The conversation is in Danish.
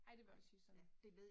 Ej det vil jeg også sige sådan